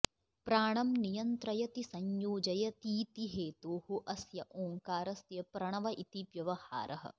प्राणं नियन्त्रयति संयोजयतीति हेतोः अस्य ॐ कारस्य प्रणव इति व्यवहारः